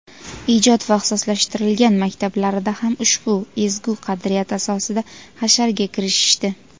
ijod va ixtisoslashtirilgan maktablarida ham ushbu ezgu qadriyat asosida hasharga kirishishdi.